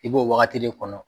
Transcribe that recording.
I b'o wagati de kɔnɔ